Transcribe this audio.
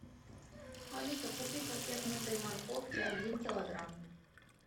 алиса купи пакет мытой морковки один килограмм